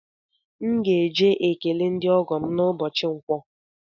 M ga-eje ekele ndị ọgọ m n’ụbọchi nkwọ